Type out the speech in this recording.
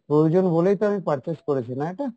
প্রয়োজন বলেই তো আমি purchase করেছি না এটা?